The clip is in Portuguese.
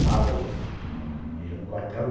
Sábado não ia no quartel.